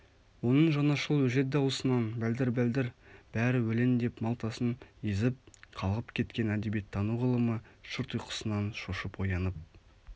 оның жаңашыл өжет дауысынан бәлдір-бәлдір бәрі өлең деп малтасын езіп қалғып кеткен әдебиеттану ғылымы шырт ұйқысынан шошып оянып